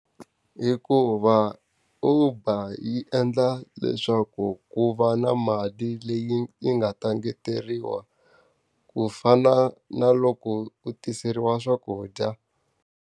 Hikuva Uber yi endla leswaku ku va na mali leyi yi nga ta engeteriwa, ku fana na loko u tiseriwa swakudya.